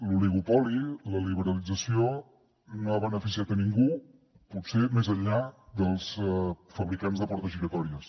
l’oligopoli la liberalització no ha beneficiat a ningú potser més enllà dels fabricants de portes giratòries